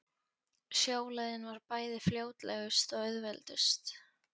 Sjóleiðin var bæði fljótlegust og auðveldust.